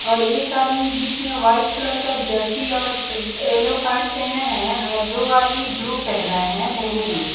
और एक आदमी बीच में व्हाइट कलर का जर्सी और येलो पैटं पहना है और दो आदमी ब्लू पहना है नेवी ब्लू --